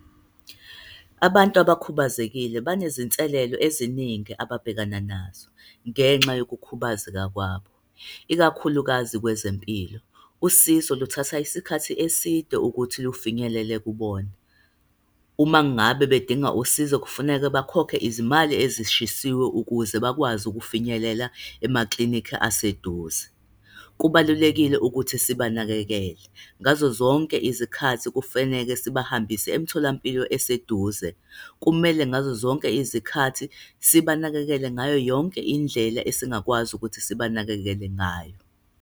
Abantu abakhubazekile banezinselelo eziningi ababhekana nazo, ngenxa yokukhubazeka kwabo, ikakhulukazi kwezempilo. Usizo luthatha isikhathi eside ukuthi lufinyelele kubona. Uma ngabe bedinga usizo, kufuneka bakhokhe izimali ezishisiwe ukuze bakwazi ukufinyelela emaklinikhi aseduze. Kubalulekile ukuthi sibanakekele. Ngazo zonke izikhathi kufaneke sibahambise emtholampilo eseduze. Kumele ngazo zonke izikhathi sibanakekele ngayo yonke indlela esingakwazi ukuthi sibanakekele ngayo.